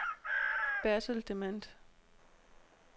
Bertel Demant